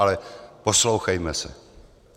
Ale poslouchejme se.